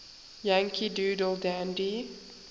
yankee doodle dandy